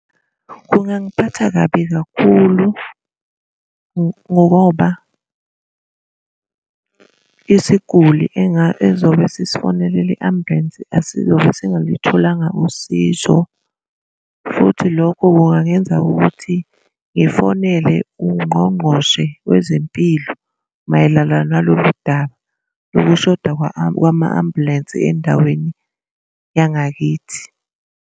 Kungangiphatha kabi kakhulu ngoba isiguli ezobe sisifonelele i-ambulensi asizobe singalutholanga usizo futhi lokho kungangenza ukuthi ngifonele ungqongqoshe wezempilo mayelana nalolu daba lokushoda kwama-ambulensi endaweni yangakithi.